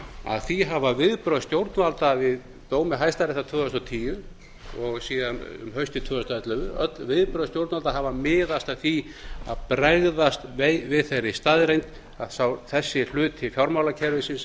að því hafa viðbrögð stjórnvalda við dómi hæstaréttar tvö þúsund og tíu og síðan um haustið tvö þúsund og ellefu öll viðbrögð stjórnvalda hafa miðast að því að bregðast við þeirri staðreynd að þessi hluti fjármálakerfisins